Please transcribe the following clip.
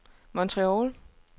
Montreal